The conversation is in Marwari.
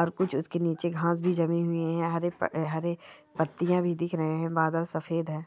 और कुछ उसके नीचे खास भी जमी हुई है हरे हरे पत्तियां भी दिख रहे है बादल सफेद है।